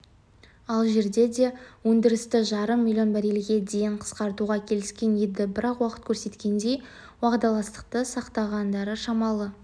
алжирде де өндірісті жарым млн баррельге дейін қысқартуға келіскен еді бірақ уақыт көрсеткендей уағдаластықты сақтағандары шамалы